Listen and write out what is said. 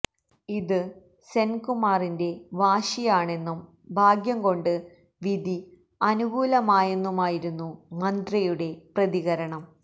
ഇത് സെൻകുമാറിന്റെ വാശിയാണെന്നും ഭാഗ്യം കൊണ്ട് വിധി അനുകൂലമായെന്നുമായിരുന്നു മന്ത്രിയുടെ പ്രതികരണം